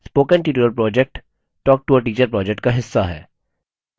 spoken tutorial project talktoateacher project का हिस्सा है